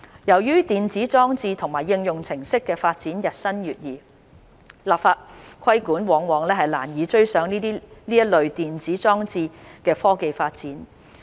由於電子裝置和應用程式的發展日新月異，立法規管往往難以追上這類電子裝置的科技發展。